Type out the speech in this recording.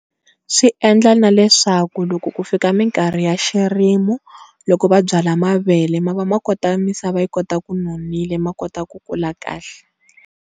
Swi endla na leswaku loko ku fika mikarhi ya swirimi loko va byala mavele ma va ma kota misava yi kota ku nonile ma kota ku kula kahle.